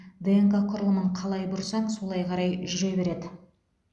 днк құрылымын қалай бұрсаң солай қарай жүре береді